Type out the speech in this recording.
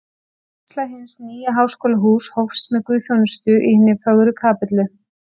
Vígsla hins nýja Háskólahúss hófst með guðsþjónustu í hinni fögru kapellu